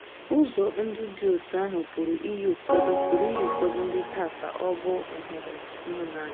Ụzọ ndụ dị otú ahụ pụrụ iyi ụfọdụ pụrụ iyi ụfọdụ ndị taa ka ọ̀ bụ nhọrọ ịhụnanya.